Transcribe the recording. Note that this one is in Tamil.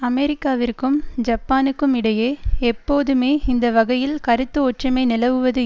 அமெரிக்காவிற்கும் ஜப்பானுக்குமிடையே எப்போதுமே இந்த வகையில் கருத்து ஒற்றுமை நிலவுவது